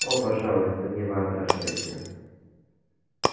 о пожалуйста не воображайте